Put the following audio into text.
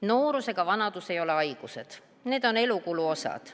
Noorus ega vanadus ei ole haigused, need on elukulu osad.